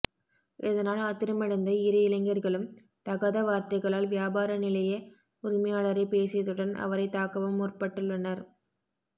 இதனால் ஆத்திரமடைந்த இரு இளைஞர்களும் தகாத வார்த்தைகளால் வியாபார நிலைய உரிமையாளரைப் பேசியதுடன் அவரைத் தாக்கவும் முற்பட்டுள்ளனர்